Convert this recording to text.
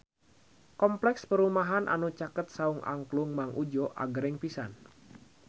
Kompleks perumahan anu caket Saung Angklung Mang Udjo agreng pisan